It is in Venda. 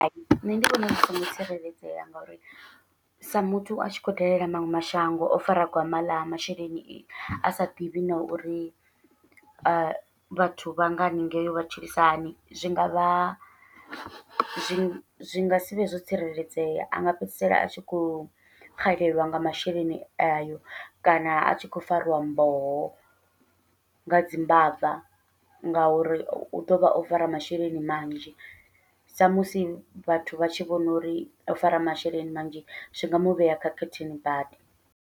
Hai nṋe ndi vhona zwi songo tsireledzea, ngauri sa muthu a tshi khou dalela maṅwe mashango o fara gwama ḽa masheleni a sa ḓivhi na uri vhathu vha nga haningei vha tshilisa hani, zwi ngavha zwi zwi zwi ngasi vhe zwo tsireledzea anga fhedzisela a tshi khou xelelwa nga masheleni ayo, kana a tshi khou fariwa mboho nga dzi mbava. Ngauri u ḓovha o fara masheleni manzhi sa musi vhathu vha tshi vhona uri o fara masheleni manzhi, zwi nga muvhea khakhathini badi.